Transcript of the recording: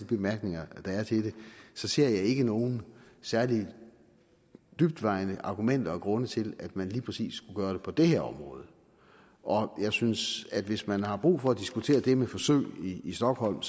bemærkninger der er til det ser jeg ikke nogen særlig tungtvejende argumenter og grunde til at man lige præcis skulle gøre det på det her område jeg synes at hvis man har brug for at diskutere det med forsøg i stockholm